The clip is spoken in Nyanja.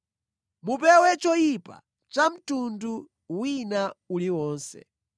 Mupewe choyipa cha mtundu wina uliwonse.